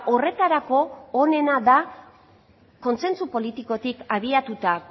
horretarako onena da kontsentsu politikotik abiatuta